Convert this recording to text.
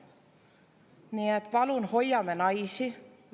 Nii et, palun, hoiame naisi!